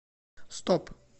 стоп